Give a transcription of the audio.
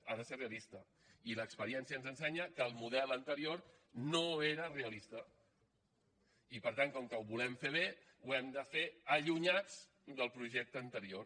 ha de ser realista i l’experiència ens ensenya que el model anterior no era realista i per tant com que ho volem fer bé ho hem de fer allunyats del projecte anterior